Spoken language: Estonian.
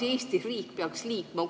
Kuidas Eesti riik peaks liikuma?